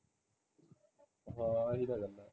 ਹਾਂ ਇਹ ਤਾ ਗੱਲ ਹੈ